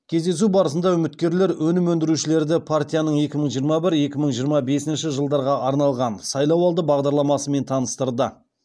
кездесу барысында үміткерлер өнім өндірушілерді партияның екі мың жиырма бір екі мың жиырма бесінші жылдарға арналған сайлауалды бағдарламасымен таныстырды